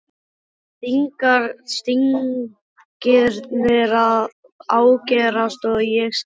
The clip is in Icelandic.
Stingirnir að ágerast og ég skil ekkert lengur.